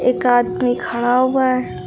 एक आदमी खड़ा हुआ है।